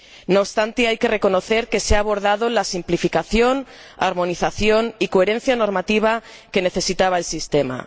No obstante, hay que reconocer que se ha abordado la simplificación, armonización y coherencia normativa que necesitaba el sistema.